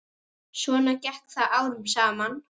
Svona gekk það árum saman.